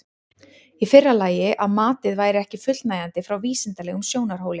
Í fyrra lagi að matið væri ekki fullnægjandi frá vísindalegum sjónarhóli.